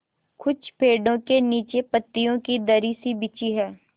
कुछ पेड़ो के नीचे पतियो की दरी सी बिछी है